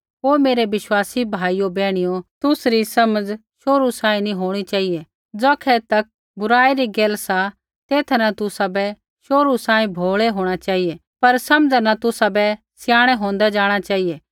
हे मेरै विश्वासी भाइयो बैहणियो तुसरी समझ शोहरु सांही नी होंणी चेहिऐ ज़ौखै तक बुराई री गैल सा तेथा न तुसाबै शोहरु सांही भोल़ै होंणा चेहिऐ पर समझ न तुसाबै सयाणै होंदै जाँणा चेहिऐ